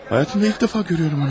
Həyatımda ilk dəfə görüyorum onu.